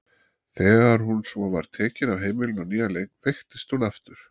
Þegar hún svo var tekin af heimilinu á nýjan leik veiktist hún aftur.